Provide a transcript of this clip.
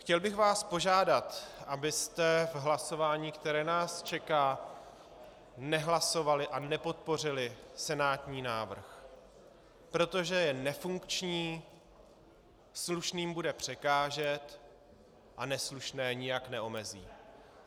Chtěl bych vás požádat, abyste v hlasování, které nás čeká, nehlasovali a nepodpořili senátní návrh, protože je nefunkční, slušným bude překážet a neslušné nijak neomezí.